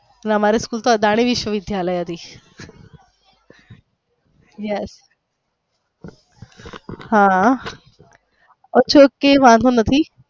અમારે તો school તો અદાણી વિદ્યાલાય હતી yes હા ok વાંધો નથી.